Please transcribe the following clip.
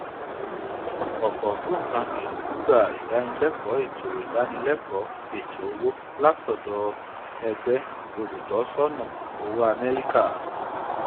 òpò ògbóǹkangí ń gbà ìdánilékòó ètò ìdánilékòó ètò owó látọdọ ẹgbẹ olùtọsọnà owó améríkà